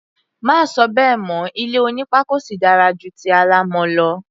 Má sọ bẹ́ẹ̀ mọ́! Ilé onípákó sì dára ju ti alámọ̀ lọ.